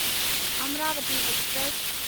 Amravati express